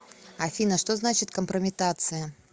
афина что значит компрометация